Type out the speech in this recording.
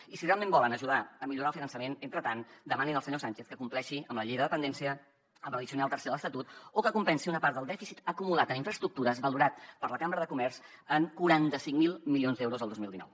i si realment volen ajudar a millorar el finançament entretant demanin al senyor sánchez que compleixi amb la llei de dependència amb l’addicional tercera de l’estatut o que compensi una part del dèficit acumulat en infraestructures valorat per la cambra de comerç en quaranta cinc mil milions d’euros el dos mil dinou